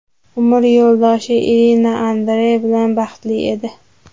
Umr yo‘ldoshi Irina Andrey bilan baxtli edi.